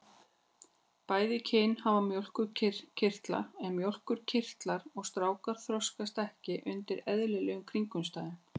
Bæði kynin hafa mjólkurkirtla en mjólkurkirtlar stráka þroskast ekki undir eðlilegum kringumstæðum.